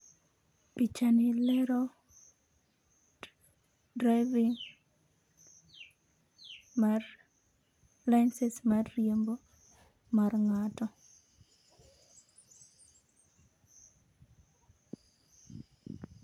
Pichani lero driving mar licence mar riembo mar ngato